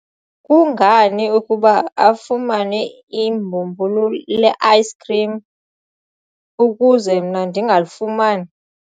kungani ukuba afumane ibhumbulu le-ayisikhrim ukuze mna ndingalifumani?